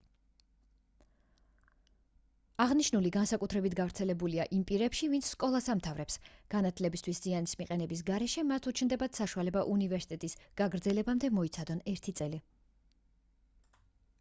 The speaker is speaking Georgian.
აღნიშნული განსაკუთრებით გავრცელებულია იმ პირებში ვინც სკოლას ამთავრებს განათლებისთვის ზიანის მიყენების გარეშე მათ უჩნდებათ საშუალება უნივერსიტეტის გაგრძელებამდე მოიცადონ ერთი წელი